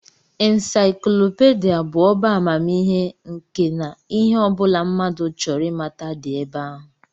Insaiklopidịa bụ ọbá amamihe nke na ihe ọ bụla mmadụ chọrọ ịmata dị ebe ahụ